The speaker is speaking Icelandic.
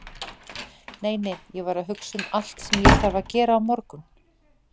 Nei, nei, ég var að hugsa um allt sem ég þarf að gera á morgun.